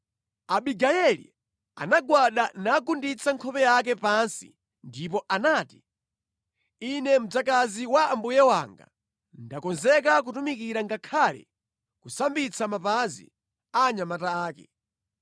Abigayeli anagwada nagunditsa nkhope yake pansi ndipo anati, “Ine mdzakazi wa mbuye wanga ndakonzeka kutumikira ngakhale kusambitsa mapazi a anyamata ake.”